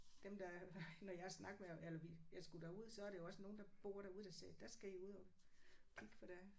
Dem der når jeg har snakket med eller vi jeg skulle derud så er det jo også nogen der bor derude der sagde der skal I ud og kigge for der er